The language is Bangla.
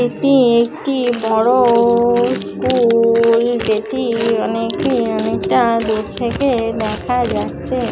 এটি একটি বড়--স্কুল-- যেটি অনেকটি অনেকটা দূর থেকে দেখা যাচ্ছে।